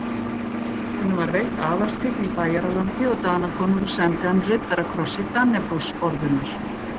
Honum var veitt aðalstign í Bæjaralandi og Danakonungur sæmdi hann riddarakrossi Dannebrogsorðunnar.